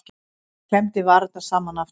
Hann klemmdi varirnar saman aftur.